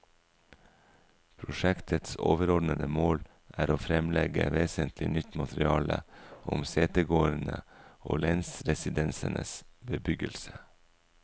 Prosjektets overordede mål er å fremlegge vesentlig nytt materiale om setegårdene og lensresidensenes bebyggelse.